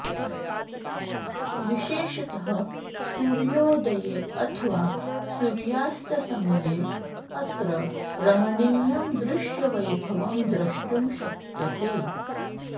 विशेषतः सूर्योदये अथवा सूर्यास्तसमये अत्र रमणीयं दृश्यवैभवं द्रष्टुं शक्यते